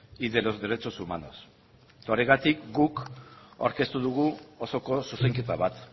y de los derechos humanos horregatik guk aurkeztu dugu osoko zuzenketa bat